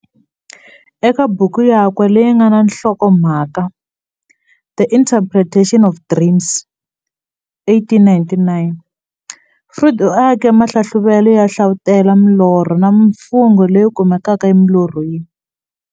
Eka buku yakwe leyi nga na nhlokomhaka The Interpretation of Dreams, 1899, Freud u ake mahlahluvele yo hlavutela milorho na mimfungo leyi kumekaka emilorhweni.